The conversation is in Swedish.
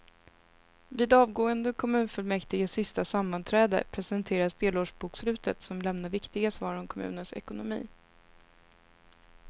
Vid avgående kommunfullmäktiges sista sammanträde presenteras delårsbokslutet som lämnar viktiga svar om kommunens ekonomi.